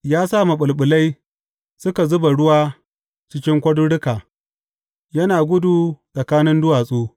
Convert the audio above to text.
Ya sa maɓulɓulai suka zuba ruwa cikin kwaruruka; yana gudu tsakanin duwatsu.